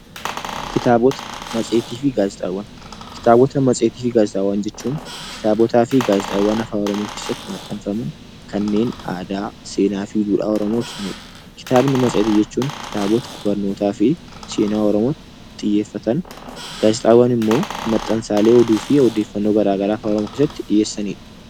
Kitaabotaa, matseeti fi gaazexaawwan. Kitaabotaa, matseeti fi gaazexaawwan jechuun kitaabotaa fi gaazeexaawwan afaan Oromoo keessatti maxxanfamaan kannen aadaa, seenaa fi dduudhaa Oromoo ibsaanidha. Kitaabni matseetii jechuun kitaabotaa barnootaa fi seenaa xiyyefataan, gaazexaawwan immoo maxaansallee odduufi ooddefannoo gara garaa afaan Oromoo keessatti dhiyesanidha.